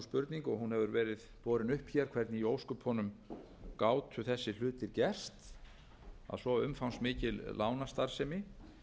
spurning og hún hefur verið borin upp hér hvernig í ósköpunum gátu þessir hlutir gerst að svo umfangsmikil lánastarfsemi